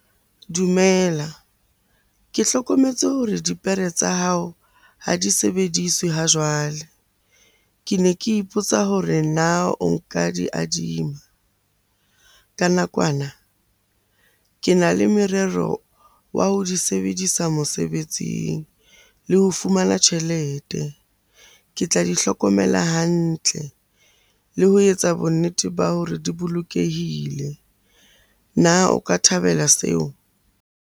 Dumela. Ke hlokometse hore dipere tsa hao ha di sebediswe ha jwale. Ke ne ke ipotsa hore na o nka di adima ka nakwana? Ke na le merero wa ho di sebedisa mosebetsing le ho fumana tjhelete. Ke tla di hlokomela hantle le ho etsa bonnete ba hore di bolokehile. Na o ka thabela seo?